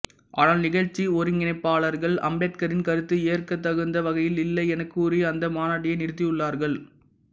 ஆனால் நிகழ்ச்சி ஒருங்கிணைப்பாளர்கள் அம்பேத்கரின் கருத்து ஏற்கத்தகுந்த வகையில் இல்லை எனக் கூறி அந்த மாநாட்டையே நிறுத்தியுள்ளார்கள்